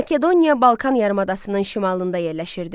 Makedoniya Balkan yarımadasının şimalında yerləşirdi.